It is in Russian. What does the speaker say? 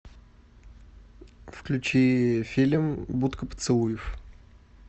включи фильм будка поцелуев